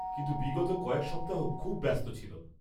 -কিন্তু বিগত কয়েক সপ্তাহ খুব ব্যস্ত ছিল।